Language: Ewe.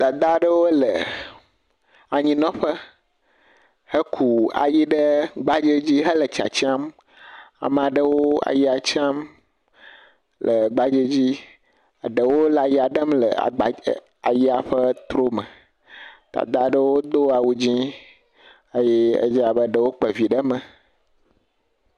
Dada ɖewo le anyi nɔ ƒe he kɔ ayi ɖe gbadze dzi he le tsatsiam. Ame aɖewo le ayia tsam le gbadze dzi eɖewo hã le ayia ɖe le ayia ƒe tro me. Dada ɖewo do awu dzɛ eye ɖewo dze abe ɖewo kpa vi ɖe me